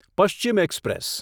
Paschim express